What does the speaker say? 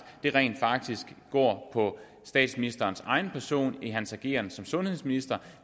rent faktisk går på statsministerens egen person i hans ageren som sundhedsminister